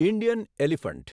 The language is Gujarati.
Indian elephant